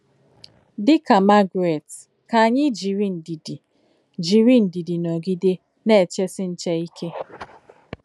Dị̀ kà Margaret, kà ányị̀ jìrì ndìdí jìrì ndìdí nọ̀gide nà-èchesí nchè íké.